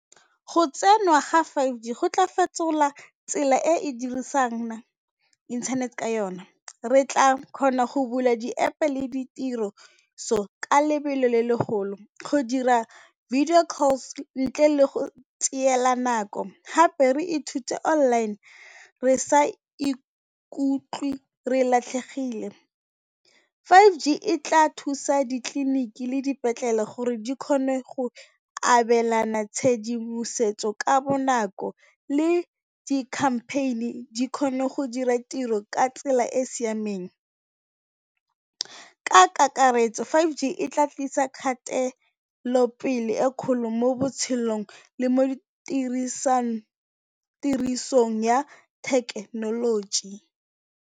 Go tsengwa ga five G go tla fetola tsela e e dirisang inthanete ka yona, re tla kgona go bula di-App le ditiriso ka lebelo le le golo go dira video calls ntle le go tseela nako, gape re e thute online re sa ikutlwe re latlhegile. five G e tla thusa ditleliniki le dipetlele gore di kgone go abelana tshedimosetso ka bonako le di-campaign-e di kgone go dira tiro ka tsela e e siameng. Ka kakaretso, five G e tla tlisa kgatelopele e kgolo mo botshelong le mo di tirisong ya thekenoloji.